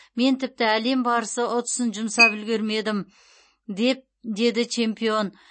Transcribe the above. мен тіпті әлем барысы ұтысын жұмсап үлгермедім деп деді чемпион